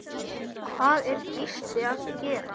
Hvað er Gísli að gera?